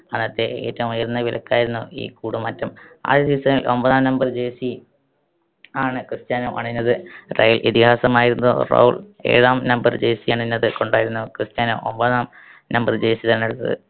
അന്നത്തെ ഏറ്റവും ഉയർന്ന വിലക്കായിരുന്നു ഈ കൂടുമാറ്റം. ആദ്യ season ൽ ഒമ്പതാം number jersey ആണ് ക്രിസ്റ്റ്യാനോ അണിഞ്ഞത്. റയൽ ഇതിഹാസമായിരുന്ന റൗൾ ഏഴാം number jersey അണിഞ്ഞത് കൊണ്ടായിരുന്നു ക്രിസ്റ്റ്യാനോ ഒമ്പതാം number jersey തെരഞ്ഞെടുത്തത്.